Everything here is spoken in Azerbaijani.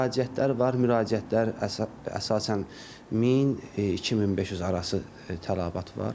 Müraciətlər var, müraciətlər əsasən 1000, 2500 arası tələbat var.